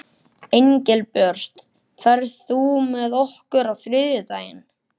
Engilbjört, ferð þú með okkur á þriðjudaginn?